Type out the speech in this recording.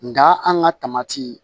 Nga an ka taamati